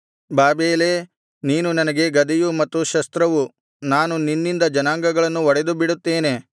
ಬಾಬೆಲೇ ನೀನು ನನಗೆ ಗದೆಯು ಮತ್ತು ಶಸ್ತ್ರವು ನಾನು ನಿನ್ನಿಂದ ಜನಾಂಗಗಳನ್ನು ಒಡೆದುಬಿಡುತ್ತೇನೆ